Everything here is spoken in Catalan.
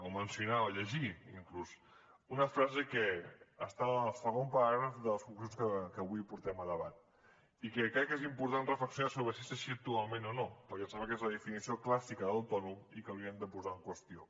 o mencionar o llegir inclús una frase que està al segon paràgraf de les conclusions que avui portem a debat i crec que és important reflexionar sobre si és així actualment o no perquè em sembla que és la definició clàssica d’ autònom i que hauríem de posar en qüestió